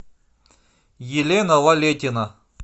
елена лалетина